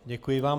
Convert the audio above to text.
Děkuji vám.